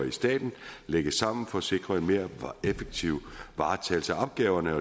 i staten lægges samme for at sikre en mere effektiv varetagelse af opgaverne